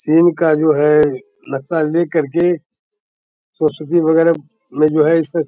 चीन का जो है नक्शा ले करके औषधि वगैरा में जो है अइसे --